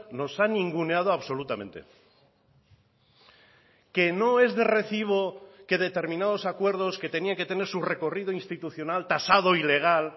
nos ha ninguneado absolutamente que no es de recibo que determinados acuerdos que tenía que tener su recorrido institucional tasado y legal